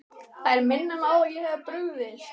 Þær minna mig á að ég hef brugðist.